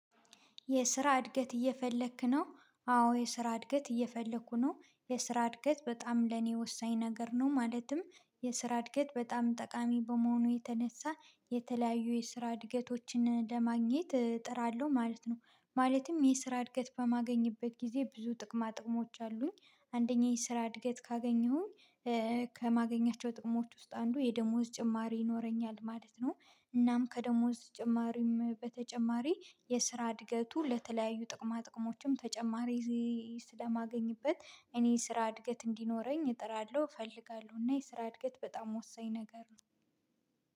የስራ እድገት እየፈለክ ነው? አዎ የስራ እድገት እየፈለኩ ነው። የስራ እድገት በጣም ለኔ ወሳኝ ነገር ነው። ማለትም የስራ እድገት በጣም ጠቃሚ በመሆኑ የተነሳ የተለያዩ የስራ እድገቶችን ለማግኘት እጥራለሁ ማለት ነው። ማለትም የስራ እድገት በማገኝበት ጊዜ ብዙ ጥቅማ ጥቅሞች አሉኝ። አንደኛዬን ስራ እድገት ካገኘሁኝ ከማገኛቸው ጥቅሞች ውስጥ አንዱ የደሞዝ ጭማሪ ይኖረኛል ማለት ነው። እናም ከደሞዝ ጭማሪም በተጨማሪ የስራ እድገቱ ለተለያዩ ጥቅማ ጥቅሞችም ተጨማሪ ስለማገኝበት እኔ የስራ እድገት እንዲኖረኝ እጥራለሁ፤ እፈልጋለሁ። እና የስራ እድገት በጣም ወሳኝ ነገር ነው።